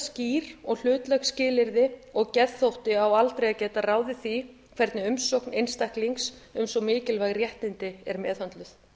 skýr og hlutlæg skilyrði og geðþótti á aldrei að geta ráðið því hvernig umsókn einstaklings um svo mikilvæg réttindi er meðhöndluð